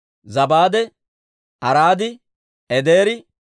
Zabaade, Araadi, Edeeri,